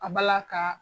A bala ka